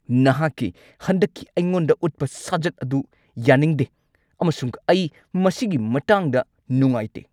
ꯅꯍꯥꯛꯀꯤ ꯍꯟꯗꯛꯀꯤ ꯑꯩꯉꯣꯟꯗ ꯎꯠꯄ ꯁꯥꯖꯠ ꯑꯗꯨ ꯌꯥꯅꯤꯡꯗꯦ ꯑꯃꯁꯨꯡ ꯑꯩ ꯃꯁꯤꯒꯤ ꯃꯇꯥꯡꯗ ꯅꯨꯡꯉꯥꯏꯇꯦ꯫